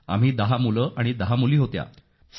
आम्ही दहा मुलं आणि दहा मुली होत्या सर